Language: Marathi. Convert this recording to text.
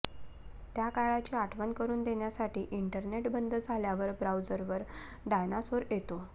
त्या काळाची आठवण करून देण्यासाठी इंटरनेट बंद झाल्यावर ब्राऊझरवर डायनासोर येतो